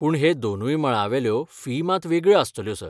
पूण हे दोनूय मळांवेल्यो फी मात वेगळ्यो आस्तल्यो, सर.